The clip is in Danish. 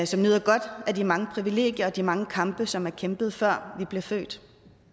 som nyder godt af de mange privilegier og de mange kampe som er kæmpet før vi blev født